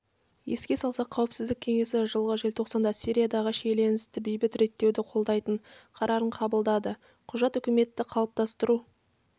еске салсақ қауіпсіздік кеңесі жылғы желтоқсанда сириядағы шиеленісті бейбіт реттеуді қолдайтын қарарын қабылдады құжат үкіметті қалыптастыру